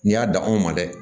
N'i y'a dan anw ma dɛ